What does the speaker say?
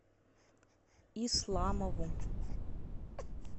исламову